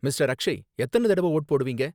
Mister Akshay எத்தன தடவ vote போடுவீங்க?